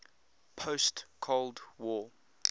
post cold war